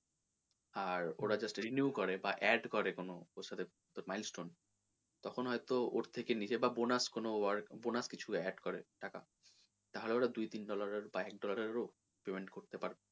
আর ওরা just reniew করে বা add করে কোনো ওর সাথে তোর milestone তখন হয়তো ওর ঠে নিজে বা bonus কোনো work, bonus কিছু add করে টাকা তাহলে ওরা দুই তিন dollar এর বা এক dollar এর ও payment করতে পারে।